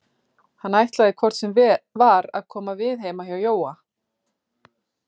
Hann ætlaði hvort sem var að koma við heima hjá Jóa.